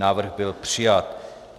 Návrh byl přijat.